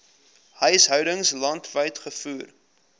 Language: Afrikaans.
huishoudings landwyd gevoer